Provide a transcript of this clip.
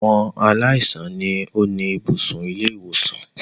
Àwọn aláìsàn ni ó ni ibùsùn ilé-ìwòsàn.